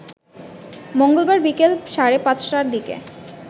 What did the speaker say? মঙ্গলবার বিকেল সাড়ে পাঁচটার দিকে